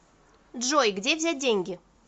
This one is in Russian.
джой где взять деньги